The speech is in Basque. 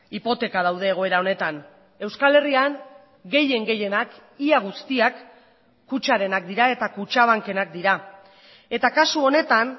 hipoteka daude egoera honetan euskal herrian gehien gehienak ia guztiak kutxarenak dira eta kutxabankenak dira eta kasu honetan